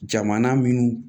Jamana minnu